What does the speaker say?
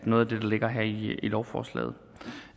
noget af det der ligger her i lovforslaget